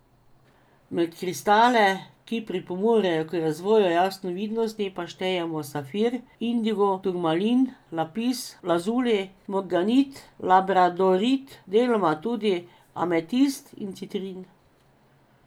Med kristale, ki pripomorejo k razvoju jasnovidnosti, pa štejemo safir, indigo turmalin, lapis lazuli, morganit, labradorit, deloma tudi ametist in citrin.